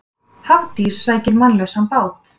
Hafdís sækir mannlausan bát